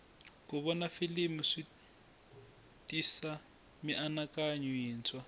ku vona filimi switisa mianakanyo yintshwa